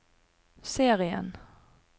serien